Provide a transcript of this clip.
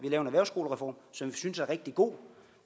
en erhvervsskolereform som vi synes er rigtig god